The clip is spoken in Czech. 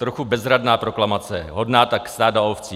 Trochu bezradná proklamace hodná tak stáda ovcí.